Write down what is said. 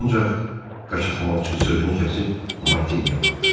Ancaq qaçaqmalçı sözünü kəsib Martiniyə baxdı.